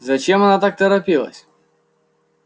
зачем она так поторопилась